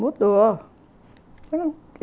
Mudou.